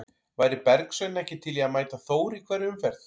Væri Bergsveinn ekki til í að mæta Þór í hverri umferð?